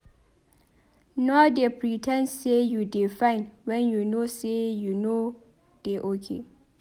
Nor dey pre ten d sey you dey fine wen you know sey you nor dey okay.